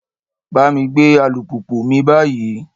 Bá mi gbé alùpùpù mi báyìí!